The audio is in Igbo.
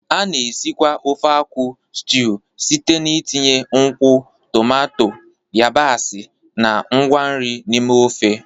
A na-esikwa ofe akwu stiuu site n'itinye nkwụ, tomato, yabasị, na ngwa nri n'ime ofe.